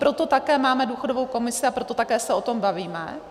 Proto také máme důchodovou komisi a proto také se o tom bavíme.